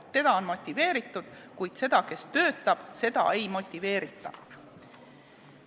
Teda on motiveeritud, kuid seda, kes töötab, ei motiveerita.